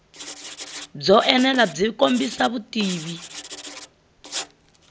byo enela byi kombisa vutivi